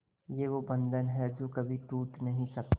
ये वो बंधन है जो कभी टूट नही सकता